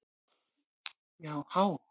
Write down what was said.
Já há!